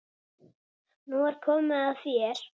Nú er komið að þér.